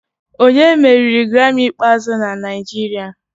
Onye meriri Grammy ikpeazụ na Naijiria?